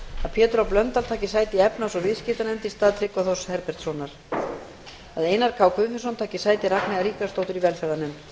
pétur h blöndal taki sæti í efnahags og viðskiptanefnd í stað tryggva þórs herbertssonar að einar k guðfinnsson taki sæti ragnheiðar ríkharðsdóttur í velferðarnefnd